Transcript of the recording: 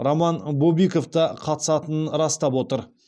роман бобиков та қатысатынын растап отыр